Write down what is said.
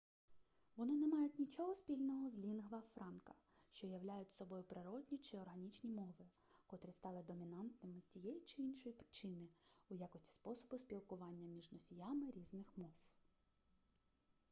вони не мають нічого спільного з лінгва франка що являють собою природні чи органічні мови котрі стали домінантними з тієї чи іншої причини у якості способу спілкування між носіями різних мов